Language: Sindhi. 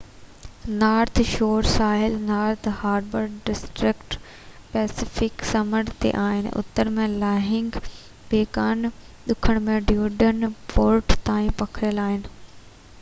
نارٿ شور ساحل نارٿ هاربر ڊسٽرڪٽ پئسيفڪ سمنڊ تي آهن ۽ اتر ۾ لانگ بي کان ڏکڻ ۾ ڊيون پورٽ تائين پکڙيل آهي